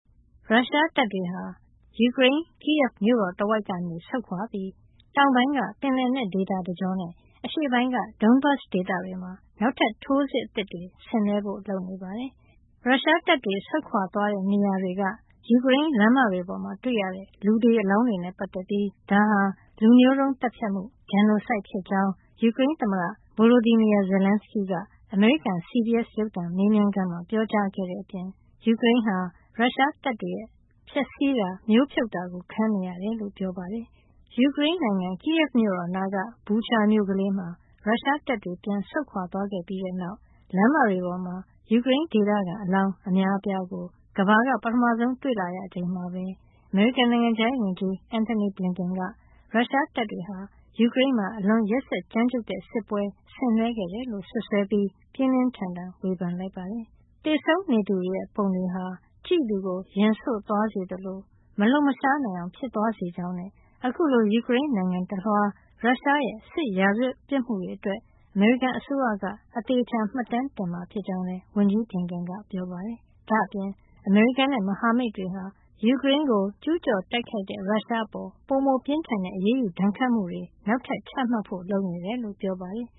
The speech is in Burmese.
ရုရှားတပ်တွေဟာ Kyiv မြို့တော်တဝိုက်ကနေ ဆုတ်ခွါပြီး ယူကရိန်းတောင်ပိုင်း ပင်လယ်နက်ဒေသတကျောနဲ့ အရှေ့ပိုင်းက Donbas ဒေသတွေမှာ နောက်ထပ် ထိုးစစ်အသစ်တွေ ဆင်နွှဲဖို့ လုပ်နေပါတယ်။ ရုရှားတပ်တွေ ဆုတ်ခွါသွားတဲ့ နေရာတွေက ယူကရိန်းလမ်းမတွေပေါ်မှာ တွေ့ရတဲ့ လူသေအလောင်းတွေနဲ့ ပတ်သက်ပြီး ဒါဟာ လူမျိုးတုံးသတ်ဖြတ်မှု Genocide ဖြစ်ကြောင်း ယူကရိန်းသမ္မတ Volodymyr Zelenskyy က အမေရိကန် CBS ရုပ်သံ မေးမြန်းခန်းမှာ ပြောကြားခဲ့တဲ့အပြင် ယူကရိန်းဟာ ရုရှားတပ်တွေရဲ့ ဖျက်ဆီးတာ၊ မျိုးဖြုတ်တာကို ခံနေရတယ်လို့ ပြောပါတယ်။ ယူကရိန်းနိုင်ငံ Kyiv မြို့တော်နားက Bucha မြို့ကလေးမှာ ရုရှားတပ်တွေ ပြန်ဆုတ်ခွါသွားခဲ့ပြီးတဲ့နောက် လမ်းတွေပေါ်မှာ ယူကရိန်းဒေသခံ အလောင်းအများအပြားကို ကမ္ဘာက ပထမဆုံး တွေ့လာရချိန်မှာပဲ အမေရိကန် နိုင်ငံခြားရေးဝန်ကြီး Antony Blinken က ရုရှားတပ်တွေဟာ ယူကရိန်းမှာ အလွန်ရက်စက်ကြမ်းကြုတ်တဲ့ စစ်ပွဲ ဆင်နွှဲခဲ့တယ်လို့ စွပ်စွဲပြီး ပြင်းပြင်းထန်ထန် ဝေဖန်လိုက်ပါတယ်။ သေဆုံးနေသူတွေရဲ့ပုံတွေဟာ ကြည့်သူကို ရင်ဆို့သွားစေသလို မလှုပ်ရှားနိုင်လောက်အောင် ဖြစ်သွားစေကြောင်းနဲ့ အခုလို ယူကရိန်းနိုင်ငံတလွှားက ရုရှားရဲ့ စစ်ရာဇဝတ်ပြစ်မှုတွေအတွက် အမေရိကန်အစိုးရက သေသေချာချာ မှတ်တမ်းတင်မှာ ဖြစ်ကြောင်းလည်း ဝန်ကြီး Blinken က ပြောပါတယ်။ ဒါ့အပြင် အမေရိကန်နဲ့ မဟာမိတ်တွေဟာ ယူကရိန်းကို ကျူးကျော်တိုက်ခိုက်တဲ့ ရုရှားအပေါ် ပိုမိုပြင်းထန်တဲ့ အရေးယူ ဒဏ်ခတ်မှုတွေ နောက်ထပ်ချမှတ်ဖို့ လုပ်နေတယ်လို့ ပြောပါတယ်။